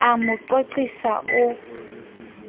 o a mo qoqisa o